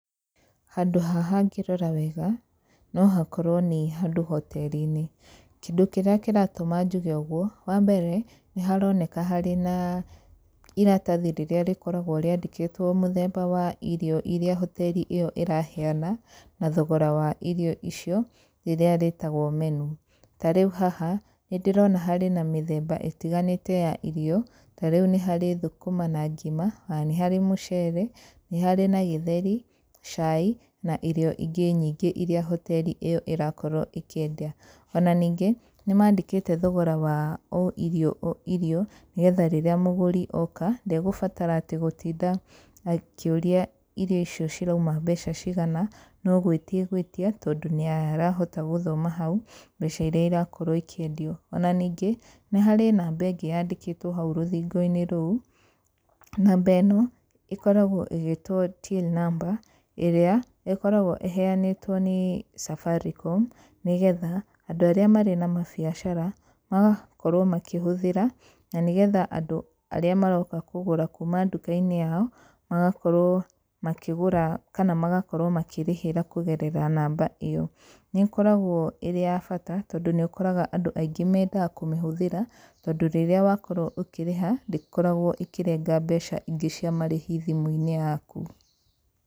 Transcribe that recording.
Handũ haha ngĩrora wega, nohakorwe nĩ handũ hoteri-inĩ, kĩndũ kĩrĩa kĩratũma njuge ũguo, wambere nĩharoneka nĩ harĩ na iratathi rĩrĩa rĩkoragwo rĩandĩkĩtwo mũthemba wa irio iria hoteri ĩyo ĩraheyana na thogora wa irio icio, ĩrĩa rĩtagwa menu, ta rĩũ haha nĩndĩrona harĩ na mĩthemba ĩtiganĩte ya irio, ta rĩũ nĩ harĩ thũkũma na ngima, ona nĩ harĩ mũcere, nĩ harĩ na gĩtheri, cai na irio ingĩ nyingi iria hoteri ĩyo ĩrakorwo ĩkĩendia, ona ningĩ nĩmandĩkĩte thogora wa o irio o irio, nĩgetha rĩrĩa mũgũri oka ndekũbatara atĩ gũtinda akĩũria irio icio ciraũma mbeca cigana, nogwĩtia egwĩtia, tondũ nĩarahota gũthoma hau mbeca iria irakorwo ikĩendio, ona ningĩ nĩ harĩ namba ĩngĩ yandĩkĩtwo hau rũthingo-inĩ rũu, namba ĩno ĩkoragwa ĩgĩtwo till number, ĩrĩa ĩkoragwa ĩheanĩtwo nĩ Safaricom, nĩgetha andũ arĩa marĩ na mabiacara magakorwo makĩhũthĩra, na nĩgetha andũ arĩa maroka kũgũra kuuma nduka-inĩ yao magakorwo makĩgũra kana magakorwo makĩrĩhĩra kũgerera namba ĩyo, nĩkoragwa ĩrĩ ya bata, tondũ nĩũkoraga andũ maingĩ mandaga kũmĩhũthĩra tondũ rĩrĩa ũkĩrĩha ndũkoragwa ũkĩrengwa mbeca ingĩ cia marĩhi thimũ-inĩ yaku.